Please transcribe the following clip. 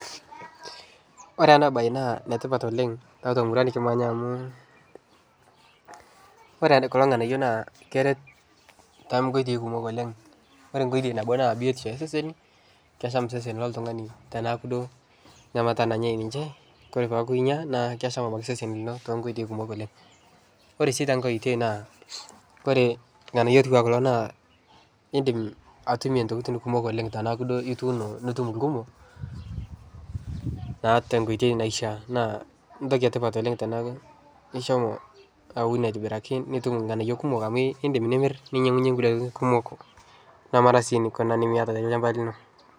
Ore ena mbae naa etipat oleng tiatua emurua nikimanya amu ore kulo nganayio naa keret too nkoitoi kumok oleng ore enedukuya naa biotisho oo seseni kesham eseseni tenekuu duo enkata nanyai ore pee eku enyia naa kesham eseseni too nkoitoi kumok oleng ore sii tenkoitoi oleng ore kulo nganayio edim anotie ntokitin kumok tenekuu duo etuno nitum irkumok naa tenkoitoi naishaa naa entoki etipat tenekuu eshomo aun aitobiraki nitum irng'anayio kumok amu edim nimir ninyiangu hie enkulie tokitin kumok nemeeta sii eninko tolchamba lino